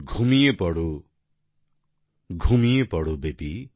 ঘুমিয়ে পড়ো ঘুমিয়ে পড়ো আমার বেবি